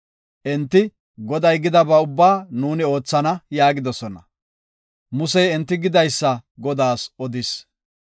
Enti, “Goday gidaba ubbaa nuuni oothana” yaagidosona. Musey enti gidaysa Godaas odis.